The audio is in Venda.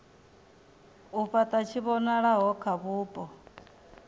u fhata tshivhonakule kha vhupo